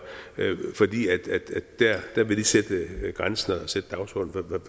fordi de der vil sætte grænsen